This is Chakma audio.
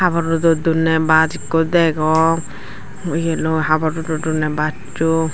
rodot dondey bas ekko degong yeloi habor rodot donney basso.